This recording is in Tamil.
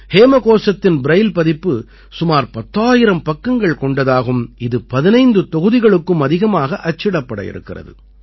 ஹேமகோசத்தின் ப்ரைல் பதிப்பு சுமார் 10000 பக்கங்கள் கொண்டதாகும் இது 15 தொகுதிகளுக்கும் அதிகமாக அச்சிடப்பட இருக்கிறது